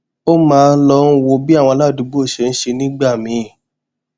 ó máa ń lọ wo bí àwọn aládùúgbò ṣe ń ṣe nígbà míì